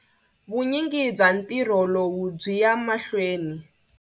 Vunyingi bya ntirho lowu byi ya mahlweni.